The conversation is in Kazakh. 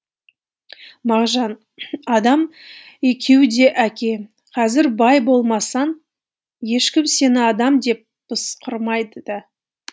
мағжан адам екеуі де әке қазір бай болмасаң ешкім сені адам деп пысқырмайды да